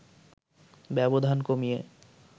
ব্যবধান কমিয়ে